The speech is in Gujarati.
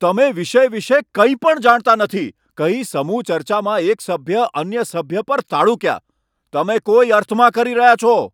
'તમે વિષય વિશે કંઈપણ જાણતા નથી', કહી સમુહ ચર્ચામાં એક સભ્ય અન્ય સભ્ય પર તાડુક્યા. 'તમે કોઈ અર્થમાં કરી રહ્યા છો.'